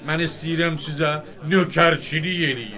Mən istəyirəm sizə nökərçilik eləyim.